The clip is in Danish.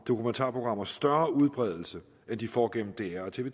dokumentarprogrammer større udbredelse end de får gennem dr og tv